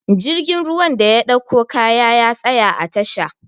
jirgin ruwan da ya ɗauko kaya ya tsaya a tasha